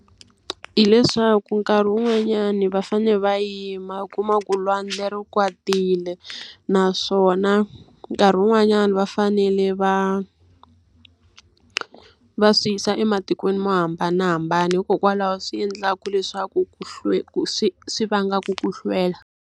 Hileswaku nkarhi wun'wanyani va fanele va yima u kuma ku lwandle ri kwatile naswona nkarhi wun'wanyana va fanele va va swi yisa ematikweni mo hambanahambana. Hikokwalaho swi endlaka leswaku ku swi swi vanga ku hlwela.